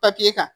kan